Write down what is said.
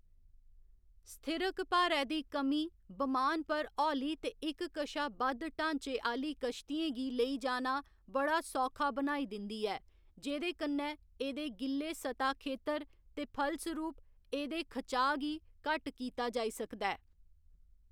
स्थिरक भारै दी कमीं बमान पर हौली ते इक कशा बद्ध ढाँचे आह्‌ली किश्तियें गी लेई जाना बड़ा सौखा बनाई दिंदी ऐ, जेह्‌दे कन्नै एह्‌‌‌दे गिल्ले सतह खेतर ते फलसरूप, एह्‌‌‌दे खचाऽ गी घट्ट कीता जाई सकदा ऐ।